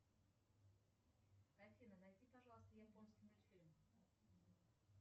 афина найди пожалуйста японский мультфильм